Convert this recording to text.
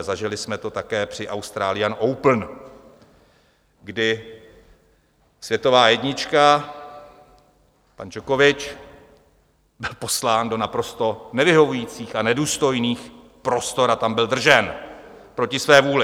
A zažili jsme to také při Australian Open, kdy světová jednička pan Djokovič byl poslán do naprosto nevyhovujících a nedůstojných prostor a tam byl držen proti své vůli.